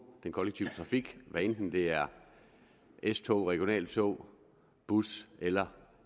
den kollektive trafik hvad enten det er s tog regionaltog bus eller